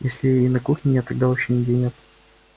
если и на кухне нет тогда вообще нигде нет